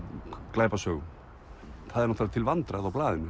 glæpasögum það er náttúrulega til vandræða á blaðinu